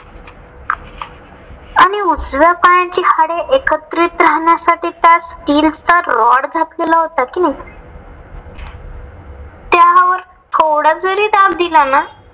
आणि उजव्या पायाची हाडे एकत्रित राहण्यासाठी त्यात स्टील चा rod घातलेला होता कि नाही. त्यावर थोडा जरी दाब दिला ना.